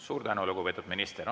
Suur tänu, lugupeetud minister!